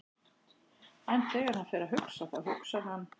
En þegar hann fer að hugsa, þá hugsar hann